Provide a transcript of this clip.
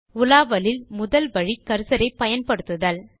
உலாவலில் முதல் வழி கர்சர் ஐ பயன்படுத்துதல்